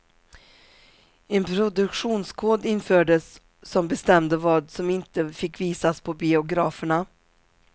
En produktionskod infördes som bestämde vad som inte fick visas på biograferna.